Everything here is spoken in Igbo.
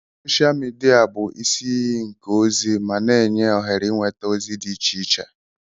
Soshal midia bụ isi iyi nke ozi ma na-enye ohere ịnweta ozi dị iche iche.